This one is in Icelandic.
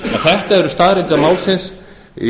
þetta eru staðreyndir málsins